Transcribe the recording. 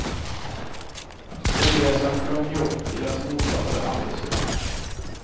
Ogräsen sjönk ihop, deras motståndare andades ut.